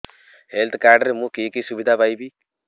health card ରେ ମୁଁ କି କି ସୁବିଧା ପାଇବି